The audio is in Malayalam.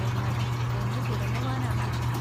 എന്നാൽ, ഒന്നു തുടങ്ങുവാനാണു വിഷമം.